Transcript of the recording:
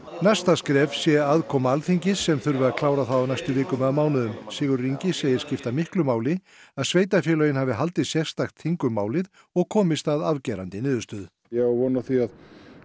næsta skref sé aðkoma Alþingis sem þurfi að klára það á næstu vikum eða mánuðum Sigurður Ingi segir skipta miklu máli að sveitarfélögin hafi haldið sérstakt þing um málið og komist að afgerandi niðurstöðu ég á von á því að